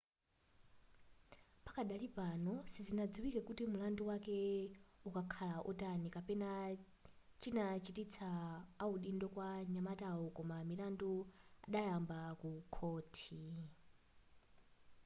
pakadali pano sizinaziwike kuti mulandu wake ukakhala otani kapena chinachitisa audindo kwa nyamatayo koma milandu idayamba ku khohi